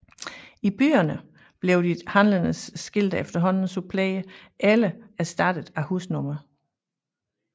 I byerne blev de handlendes skilte efterhånden suppleret eller erstattet af husnumre